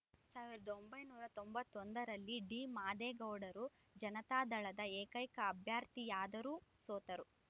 ಸಾವಿರದ ಒಂಬೈನೂರ ತೊಂಬತ್ತೊಂದರಲ್ಲಿ ಡಿಮಾದೇಗೌಡರು ಜನತಾದಳದ ಏಕೈಕ ಅಭ್ಯರ್ಥಿಯಾದರೂ ಸೋತರು